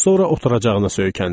Sonra oturacağına söykəndi.